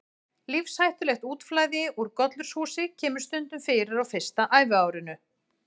Lífshættulegt útflæði úr gollurshúsi kemur stundum fyrir á fyrsta æviárinu.